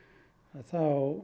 þá